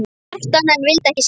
Kjartan en vildi ekki skilja.